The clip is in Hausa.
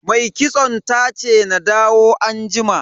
Mai kitson tace na dawo anjima.